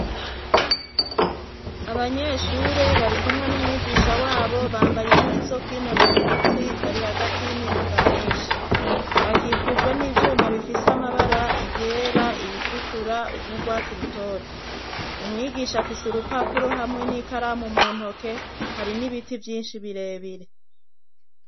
Abanyeshure bari kumwe n'umwigisha wabo bambaye impuzu zo kwinonora imitsi bari hagati y'imiduga myinshi bakikujwe n'ivyuma bifise amabara iyera iritukura n'urwatsi rutoto umwigisha afise urupapuro hamwe n'ikaramu muntoke hari n'ibiti vyinshi bire bire.